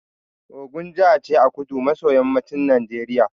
Ogun jaha ce a kudu maso yammacin Najeriya